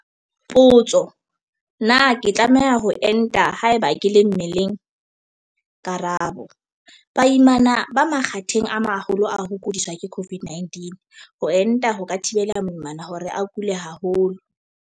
Potso- Na ke tlameha ho enta haeba ke le mmeleng? Karabo- Baimana ba makgatheng a maholo a ho kudiswa ke COVID-19. Ho enta ho ka thibela moimana hore a kule haholo.